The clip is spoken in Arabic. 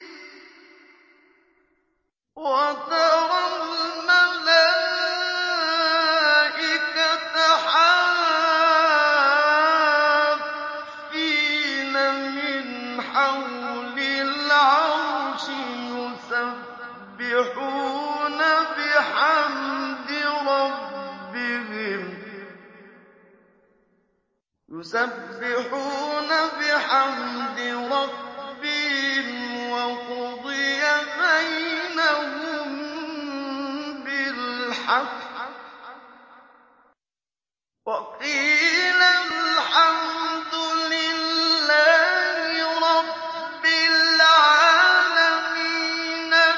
وَتَرَى الْمَلَائِكَةَ حَافِّينَ مِنْ حَوْلِ الْعَرْشِ يُسَبِّحُونَ بِحَمْدِ رَبِّهِمْ ۖ وَقُضِيَ بَيْنَهُم بِالْحَقِّ وَقِيلَ الْحَمْدُ لِلَّهِ رَبِّ الْعَالَمِينَ